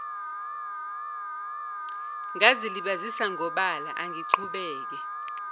ngazilibazisa ngobala angiqhubeke